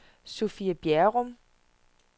Sophie Bjerrum